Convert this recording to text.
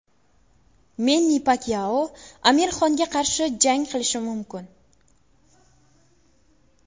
Menni Pakyao Amir Xonga qarshi jang qilishi mumkin.